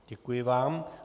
Děkuji vám.